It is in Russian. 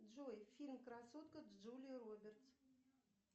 джой фильм красотка с джулией робертс